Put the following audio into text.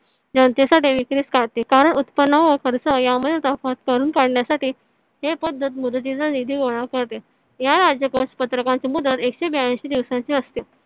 जनतेसाठी विक्रीस काढते कारण उत्पन्न व खर्च यामध्ये तफावत भरून काढण्यासाठी ते खूप मुदतीचा निधी गोळा करते. या राजकोष पत्रकाची मुदत एकशे ब्याऐंशी दिवसांची असते